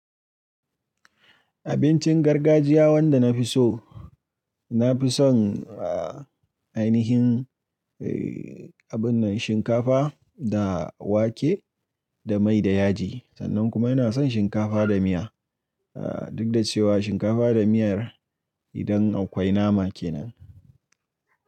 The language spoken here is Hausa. Abincin gargajiya wanda na fi so, na fi son ainihin abun nan shinkafa da wake da mai da yaji. Sannan kuma ina son shinkafa da miya, duk da cewa shinkafa da miyar idan akwai nama kenan.